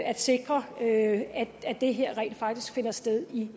at sikre at det her rent faktisk finder sted i